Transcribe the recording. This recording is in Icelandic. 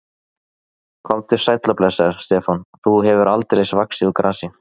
Komdu sæll og blessaður, Stefán, þú hefur aldeilis vaxið úr grasi.